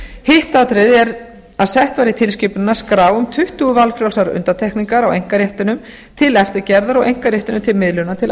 hitt atriðið er að sett verði í tilskipunina skrá um tuttugu valfrjálsar undantekningar á einkaréttinum til eftirgerðar og einkarétturinn til miðlunar til